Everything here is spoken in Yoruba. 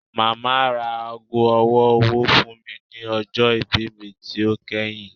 Mama ra aago ọwọ-ọwọ fun mi ni ọjọ ibi mi ti o kẹhin